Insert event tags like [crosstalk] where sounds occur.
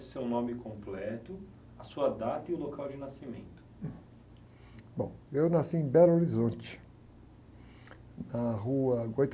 o seu nome completo, a sua data e o local de nascimento.um. Bom, eu nasci em, [unintelligible] na rua [unintelligible]